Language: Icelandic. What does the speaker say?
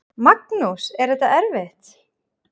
Magnús: Er þetta erfitt?